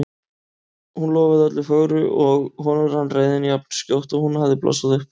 Hún lofaði öllu fögru og honum rann reiðin jafn skjótt og hún hafði blossað upp.